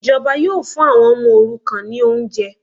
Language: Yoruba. Ìjọba yóò fún àwọn ọmọ òrukàn ní oúnjẹ